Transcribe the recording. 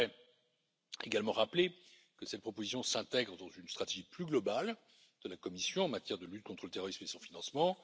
J'aimerais également rappeler que cette proposition s'intègre dans une stratégie plus globale de la Commission en matière de lutte contre le terrorisme et son financement.